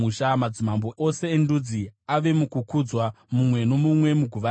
Madzimambo ose endudzi ave mukukudzwa, mumwe nomumwe muguva rake.